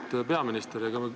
Auväärt peaminister!